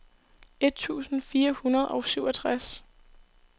et tusind fire hundrede og syvogtres